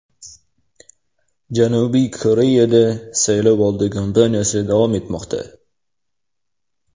Janubiy Koreyada saylovoldi kompaniyasi davom etmoqda.